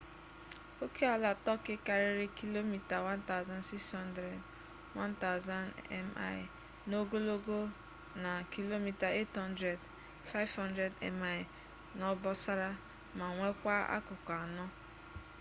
okeala turkey karịrị kilomita 1600 1000 mi n'ogologo na kilomita 800 500 mi n'obosara ma nwekwaa akụkụ anọ